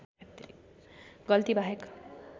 गल्ती बाहेक